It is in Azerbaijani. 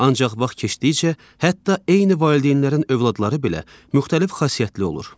Ancaq vaxt keçdikcə, hətta eyni valideynlərin övladları belə müxtəlif xasiyyətli olur.